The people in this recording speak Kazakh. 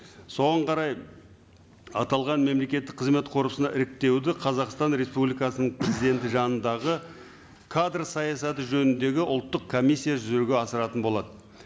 соған қарай аталған мемлекеттік қызмет корпусына іріктеуді қазақстан республикасының кезеңді жанындағы кадр саясаты жөніндегі ұлттық комиссия жүзеге асыратын болады